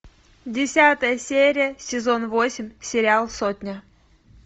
десятая серия сезон восемь сериал сотня